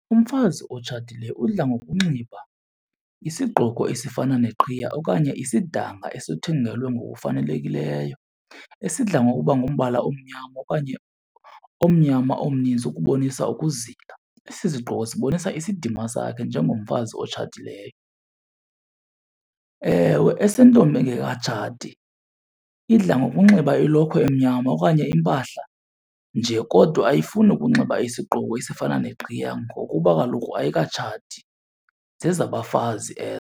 Umfazi otshatileyo udla ngokunxiba isigqoko esifana neqhiya okanye isidanga esithungelwe ngokufanelekileyo, esidla ngokuba ngumbala omnyama okanye omnyama omninzi ukubonisa ukuzila. Esi sigqoko sibonisa isidima sakhe njengomfazi otshatileyo. Ewe, esentombi engekatshati idla ngokunxiba ilokhwe emnyama okanye impahla nje kodwa ayifuni ukunxiba isigqoko esifana neqhiya ngokuba kaloku ayikatshati, zezabafazi .